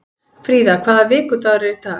Fríða, hvaða vikudagur er í dag?